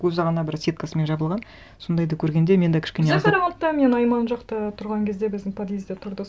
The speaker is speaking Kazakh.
көзі ғана бір сеткасымен жабылған сондайды көргенде мен де кішкене аздап бізде қарағандыда мен айман жақта тұрған кезде біздің подъездде тұрды